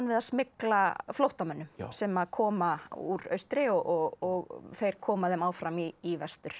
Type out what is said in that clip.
við að smygla flóttamönnum sem koma úr austri og þeir koma þeim áfram í vestur